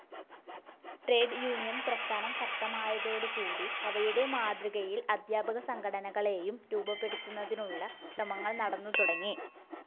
Trade union പ്രസ്ഥാനം ശക്തമായതോടുകൂടി അവയുടെ മാതൃകയിൽ അധ്യാപകസംഘടനകളേയും രൂപപ്പെടുത്തുന്നതിനുള്ള ശ്രമങ്ങൾ നടന്നുതുടങ്ങി.